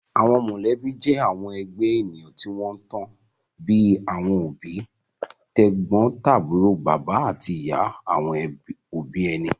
Àwọn mọ̀lẹ́bí jẹ́ àwọn ẹgbẹ́ ènìyàn tí wọ́n tan, bíi àwọn òbí, tẹ̀gbọ́ntàbúrò, bàbá àti ìyá àwọn òbí ẹni